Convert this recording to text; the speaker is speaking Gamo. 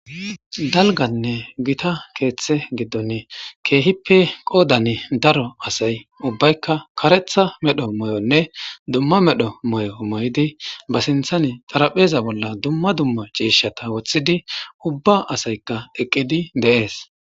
Dalganne gita keeththe giddonn keehippe qoodane daro asay ubbaykka karetha medho moy'onne dumma medho moy'o moy'idi ba sinthani tarapheza bolla dumma dumma ciishata woththidi ubba asaykka eqqidi deees.